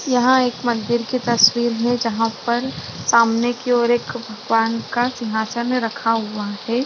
यहां एक मंदिर की तस्वीर है जहां पर सामने की ओर एक बांग का सिंहासन रखा हुआ है।